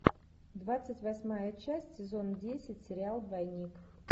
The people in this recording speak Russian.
двадцать восьмая часть сезон десять сериал двойник